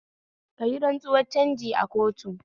Kayi rantsuwar canji a kotu